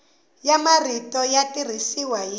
ya marito ya tirhisiwa hi